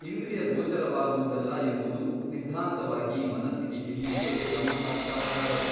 ಇಂದ್ರಿಯಗೋಚರವಾಗುವುದಲ್ಲ ಎಂಬುದು ಸಿದ್ಧಾಂತವಾಗಿ ಮನಸ್ಸಿಗೆ ಹಿಡಿಯುವುದೇ ಬ್ರಹ್ಮಸಾಕ್ಷಾತ್ಕಾರವು.